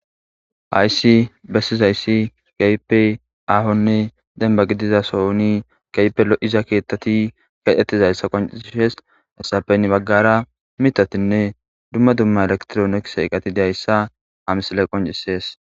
Hayssi bessizayssi gaype ahonne denba gidiza sohoni gaype lo7iza keethtati kedhetizayssa qonciishes essapen baggara mitatinne dumma dumma elektroonekiseeqati deayssa hamsale qoncisees.